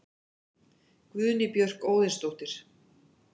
Guðný Björk Óðinsdóttir